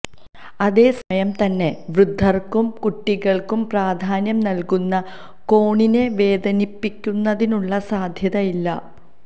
അതേ സമയം തന്നെ വൃദ്ധർക്കും കുട്ടികൾക്കും പ്രാധാന്യം നൽകുന്ന കോണിനെ വേദനിപ്പിക്കുന്നതിനുള്ള സാധ്യതയില്ല